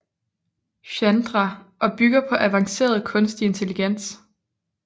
Chandra og bygger på avanceret kunstig intelligens